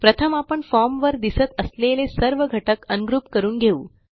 प्रथम आपण फॉर्म वर दिसत असलेले सर्व घटक अनग्रुप करून घेऊ